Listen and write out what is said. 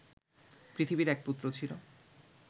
পৃথিবীর এক পুত্র ছিল